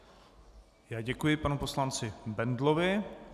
Já děkuji panu poslanci Bendlovi.